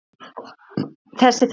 Þessa þarna!